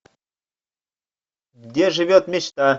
где живет мечта